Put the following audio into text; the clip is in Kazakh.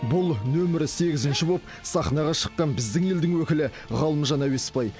бұл нөмір сегізінші болып сахнаға шыққан біздің елдің өкілі ғалымжан әуесбай